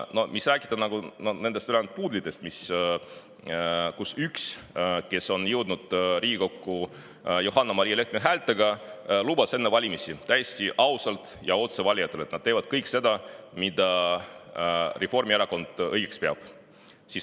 Mis siis veel rääkida nendest puudlitest, kellest üks, kes jõudis Riigikokku Johanna-Maria Lehtme häältega, lubas enne valimisi valijatele täiesti ausalt ja otse, et nad teevad kõike seda, mida Reformierakond õigeks peab.